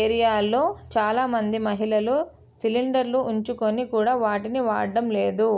ఏరియాల్లో చాలా మంది మహిళలు సిలిండర్లు ఉంచుకొని కూడా వాటిని వాడటం లేదు